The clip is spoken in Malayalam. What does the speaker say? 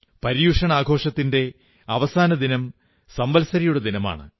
പര്യുഷൺ ആഘോഷത്തിന്റെ അവസാന ദിനം സംവത്സരിയുടെ ദിനമാണ്